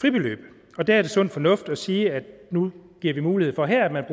fribeløb og der er det sund fornuft at sige at nu giver vi mulighed for her at